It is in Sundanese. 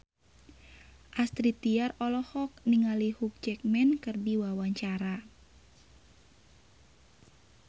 Astrid Tiar olohok ningali Hugh Jackman keur diwawancara